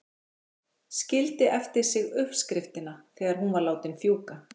Skildi eftir sig uppskriftina þegar hún var látin fjúka.